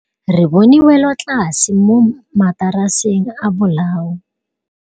Re bone wêlôtlasê mo mataraseng a bolaô.